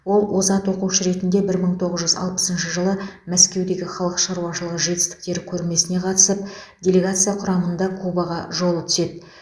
ол озат оқушы ретінде бір мың тоғыз жүз алпысыншы жылы мәскеудегі халық шаруашылығы жетістіктері көрмесіне қатысып делегация құрамында кубаға жолы түседі